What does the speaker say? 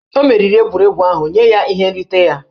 O meriri egwuregwu ahụ, nye ya ihe nrite ya!